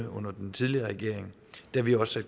under den tidligere regering da vi også